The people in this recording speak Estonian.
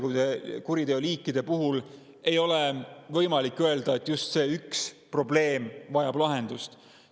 Kõikide kuriteoliikide seast ei ole võimalik üht probleemi ja öelda, et just see vajab lahendust.